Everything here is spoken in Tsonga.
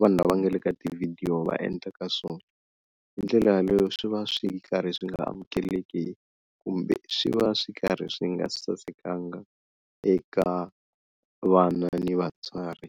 vanhu lava nga le ka tivhidiyo va endlaka swona. Hi ndlela yaleyo swi va swi karhi swi nga amukeleki kumbe swi va swi karhi swi nga sasekanga eka vana ni vatswari.